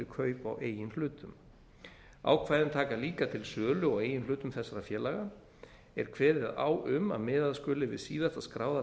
kaup á eigin hlutum ákvæðin taka líka til sölu á eigin hlutum þessara félaga ef kveðið er á um að miðað sé við síðasta skráða